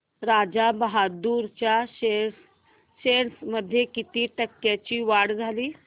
राजा बहादूर च्या शेअर्स मध्ये किती टक्क्यांची वाढ झाली